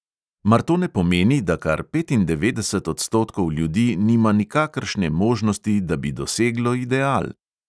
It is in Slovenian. Mar to ne pomeni, da kar petindevetdeset odstotkov ljudi nima nikakršne možnosti, da bi doseglo ideal?